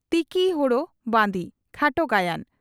"ᱛᱤᱠᱤ ᱦᱳᱲᱳ ᱵᱟᱺᱫᱤ" (ᱠᱷᱟᱴᱚ ᱜᱟᱭᱟᱱ)